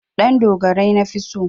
Ɗandogarai nafi so.